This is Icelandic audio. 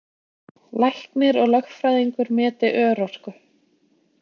Læknir og lögfræðingur meti örorku